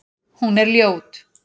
Hún er ljót.